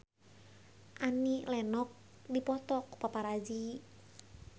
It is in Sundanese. Annie Lenox dipoto ku paparazi